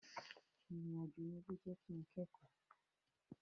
Ìrìn àjò yẹn ló jẹ́ kin kẹ́kọ̀ọ́.